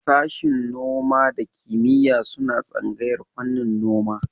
Sashin noma da kiyima suna tsangayar fannin noma